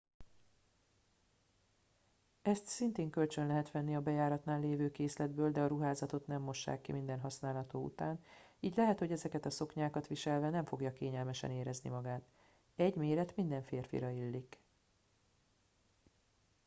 ezt szintén kölcsön lehet venni a bejáratnál lévő készletből de a ruházatot nem mossák ki minden használó után így lehet hogy ezeket a szoknyákat viselve nem fogja kényelmesen érezni magát egy méret minden férfira illik